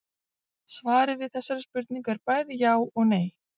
Svarið við þessari spurningu er bæði já og nei.